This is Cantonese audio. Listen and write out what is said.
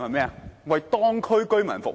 是為當區居民服務。